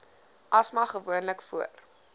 asma gewoonlik voor